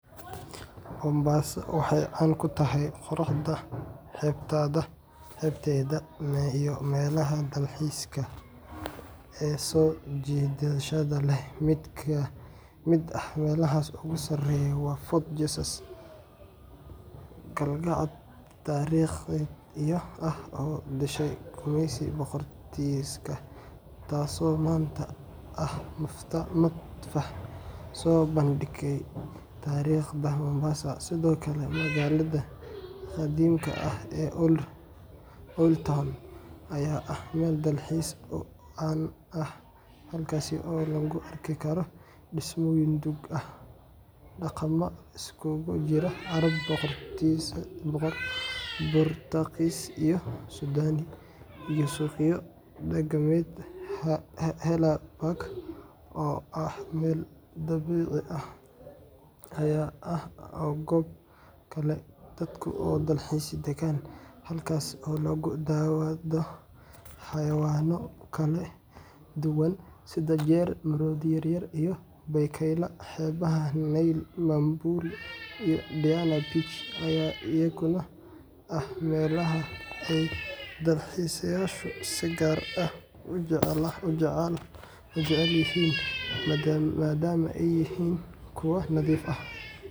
Mombasa waxay caan ku tahay quruxda xeebteeda iyo meelaha dalxiiska ee soo jiidashada leh. Mid ka mid ah meelaha ugu sareeya waa Fort Jesus, qalcad taariikhi ah oo uu dhisay gumeysigii Boortaqiiska, taasoo maanta ah matxaf soo bandhigaya taariikhda Mombasa. Sidoo kale, magaalada qadiimka ah ee Old Town ayaa ah meel dalxiis oo caan ah, halkaas oo lagu arki karo dhismooyin duug ah, dhaqamo isugu jira Carab, Boortaqiis iyo Suudaani, iyo suuqyo dhaqameed. Haller Park oo ah meel dabiici ah ayaa ah goob kale oo dadku u dalxiis tagaan, halkaas oo lagu daawado xayawaanno kala duwan sida jeer, maroodi yaryar, iyo bakaylaha. Xeebaha nyali, Bamburi, iyo Diani Beach ayaa iyaguna ah meelaha ay dalxiisayaashu si gaar ah u jecel yihiin, maadaama ay yihiin kuwo nadiif ah.